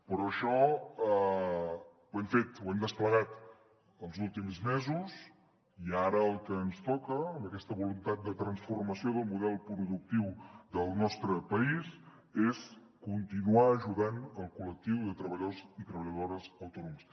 però això ho hem fet ho hem desplegat els últims mesos i ara el que ens toca amb aquesta voluntat de transformació del model productiu del nostre país és continuar ajudant el col·lectiu de treballadors i treballadores autònoms